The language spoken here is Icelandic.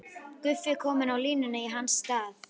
Guffi kominn á línuna í hans stað!